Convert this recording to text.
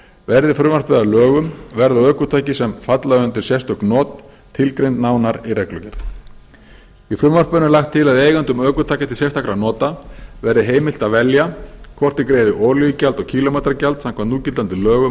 verði frumvarpið að lögum verða ökutæki sem falla undir sérstök not tilgreind nánar í reglugerð í frumvarpinu er lagt til að eigendum ökutækja til sérstakra nota verði heimilt að velja hvort þeir greiði olíugjald og kílómetragjald samkvæmt núgildandi lögum